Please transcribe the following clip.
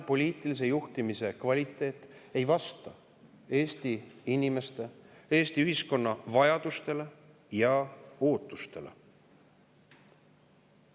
Poliitilise juhtimise kvaliteet ei vasta Eesti inimeste ja Eesti ühiskonna vajadustele ja ootustele.